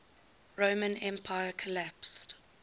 roman empire collapsed